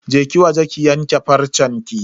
Je ki waje ki yanka farcenki.